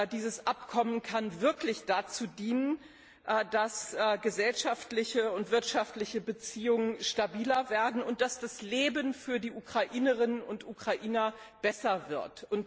Dieses Abkommen kann wirklich dazu dienen, dass gesellschaftliche und wirtschaftliche Beziehungen stabiler werden und dass das Leben für die Ukrainerinnen und Ukrainer besser wird.